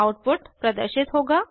output प्रदर्शित होगा